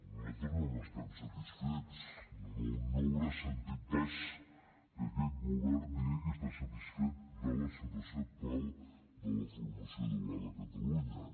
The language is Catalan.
nosaltres no n’estem satisfets no deu haver sentit pas que aquest govern digui que està satisfet de la situació actual de la formació dual a catalunya